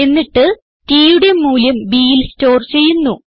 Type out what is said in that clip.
എന്നിട്ട് tയുടെ മൂല്യം bൽ സ്റ്റോർ ചെയ്യുന്നു